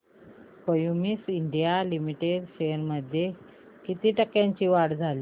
Cummins India Limited shares मध्ये किती टक्क्यांची वाढ झाली